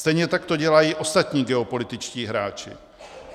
Stejně tak to dělají ostatní geopolitičtí hráči.